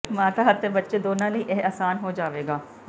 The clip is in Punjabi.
ਮਾਤਾ ਅਤੇ ਬੱਚੇ ਦੋਨਾਂ ਲਈ ਇਹ ਆਸਾਨ ਹੋ ਜਾਵੇਗਾ